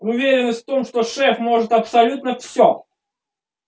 уверенность в том что шеф может абсолютно все